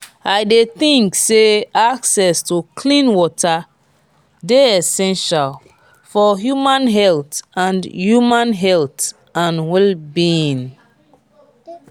i dey think say access to clean water dey essential for human health and human health and wll-being.